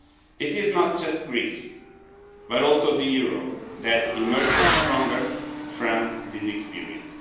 It is not just Greece but also the euro that emerges stronger from this experience.